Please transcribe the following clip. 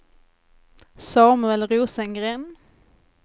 Samuel Rosengren